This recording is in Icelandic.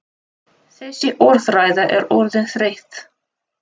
Þessi orðræða er orðin þreytt!